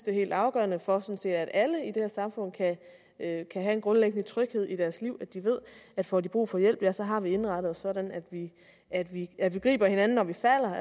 er helt afgørende for at alle i det her samfund kan have en grundlæggende tryghed i deres liv at de ved at får de brug for hjælp ja så har vi indrettet os sådan at vi at vi griber hinanden når vi falder